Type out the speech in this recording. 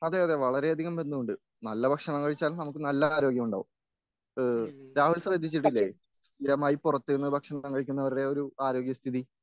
അതെയതെ വളരെയധികം ബന്ധമുണ്ട് നല്ല ഭക്ഷണം കഴിച്ചാൽ നമുക്ക് നല്ല ആരോഗ്യമുണ്ടാകും ഇഹ് രാഹുൽ ശ്രദ്ധിച്ചിട്ടില്ലേ സ്ഥിരമായി പുറത്തുനിന്ന് ഭക്ഷണം കഴിക്കുന്നവരുടെ ഒരു ആരോഗ്യസ്ഥിതി